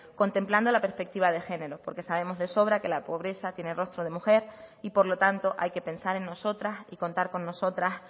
contemplando la perspectiva de género porque sabemos de sobra que la pobreza tiene rostro de mujer y por lo tanto hay que pensar en nosotras y contar con nosotras